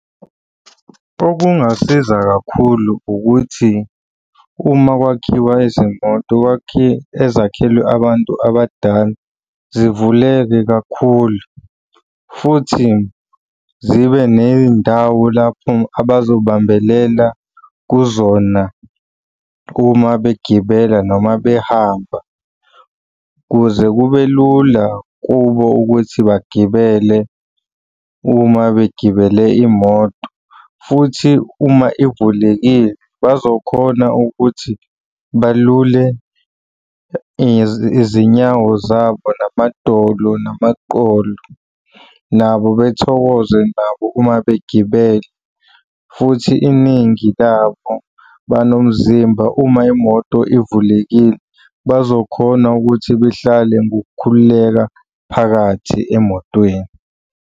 Okungasiza kakhulu ukuthi, uma kwakhiwa izimoto ezakhelwe abantu abadala zivuleke kakhulu futhi zibe ney'ndawo lapho abazobambelela kuzona uma begibela noma behamba ukuze kube lula kubo ukuthi bagibele uma begibele imoto, futhi uma ivulekile, bazokhona ukuthi balule izinyawo zabo namadolo namaqolo. Nabo bethokoze nabo uma begibele, futhi iningi labo banomzimba uma imoto ivulekile. Bazokhona ukuthi behlale ngokukhululeka phakathi emotweni.